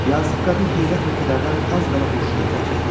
Yazıq qadın heyrət və kədərdən az qala huşunu itirəcəkdi.